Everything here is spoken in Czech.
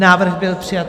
Návrh byl přijat.